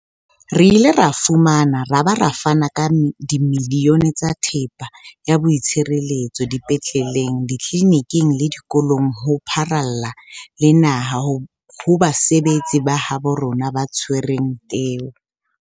Re ile ra fumana ra ba ra fana ka dimilione tsa thepa ya boitshireletso dipetleleng, ditleliniking le dikolong ho pharalla le naha ho basebetsi ba habo rona ba tshwereng teu.